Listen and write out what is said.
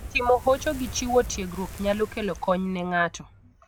Timo hocho gi chiwo tiegruok nyalo kelo kony ne ng'ato.